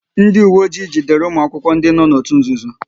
Ndị uwe ojii jidere ụmụ akwụkwọ ndị nọ n'òtù nzuzo